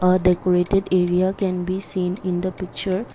a decorated area can be seen in the picture.